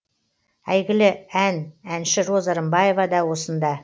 әйгілі ән әнші роза рымбаева да осында